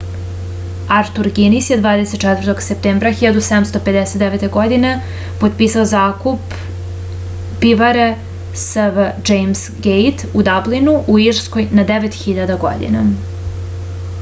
artur ginis je 24. septembra 1759. godine potpisao zakup pivare sv džejms gejt u dablinu u irskoj na 9000 godina